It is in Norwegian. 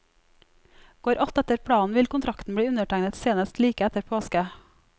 Går alt etter planen, vil kontrakten bli undertegnet senest like etter påske.